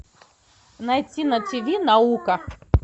найти на ти ви наука